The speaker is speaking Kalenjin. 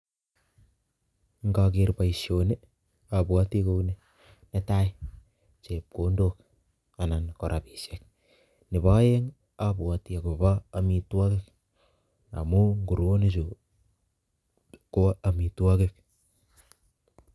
Nkaker boishoni abwoti kouni; Netai chepkondok anan ko rapiishek, nepo oeng abwoti akopo amitwokik amu nguruonichu ko amitwokik.